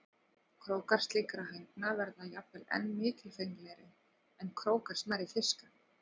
Krókar slíkra hænga verða jafnvel enn mikilfenglegri en krókar smærri fiska.